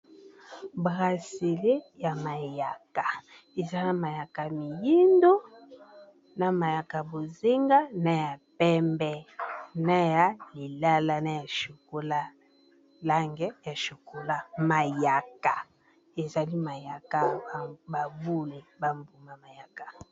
Brasele ya mayaka eza na mayaka miyindo na mayaka bozenga na ya pembe na ya lilala na ya chokola langi ya chokola mayaka ezali mayaka ya boule ba mbuma mayaka.